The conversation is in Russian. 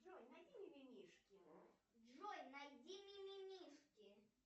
джой найди мимимишки